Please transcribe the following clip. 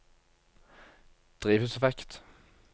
drivhuseffekt